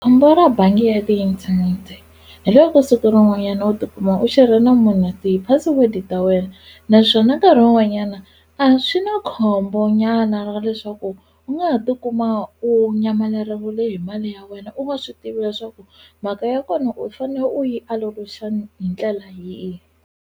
Khombo ra bangi ya tiinthanete hi loko siku rin'wanyana u tikuma u xerhe na munhu ti-password-i ta wena naswona nkarhi wun'wanyana a swi na khombo nyana ra leswaku u nga ha tikuma u nyamaleriwile hi mali ya wena u nga swi tivi leswaku mhaka ya kona u fane u yi hi ndlela yihi.